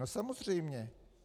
No samozřejmě.